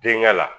Denkɛ la